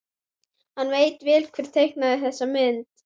Hann veit vel hver teiknaði þessa mynd.